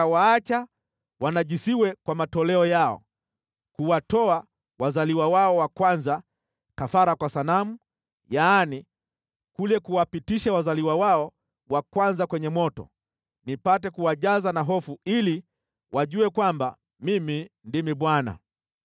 Nikawaacha wanajisiwe kwa matoleo yao, kuwatoa wazaliwa wao wa kwanza kafara kwa sanamu, yaani, kule kuwapitisha wazaliwa wao wa kwanza kwenye moto, nipate kuwajaza na hofu ili wajue kwamba Mimi ndimi Bwana .’